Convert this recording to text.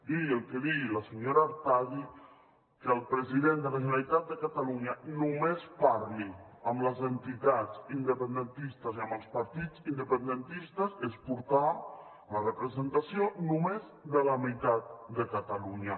digui el que digui la senyora artadi que el president de la generalitat de catalunya només parli amb les entitats independentistes i amb els partits independentistes és portar la representació només de la meitat de catalunya